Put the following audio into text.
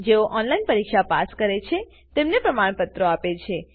જેઓ ઓનલાઈન પરીક્ષા પાસ કરે છે તેઓને પ્રમાણપત્રો આપે છે